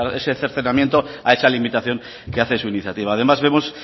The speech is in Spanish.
ese cercenamiento a esa limitación que hace su iniciativa además vemos